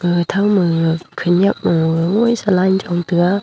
ga ga tham ma khanak nu mumsa line jon taiga.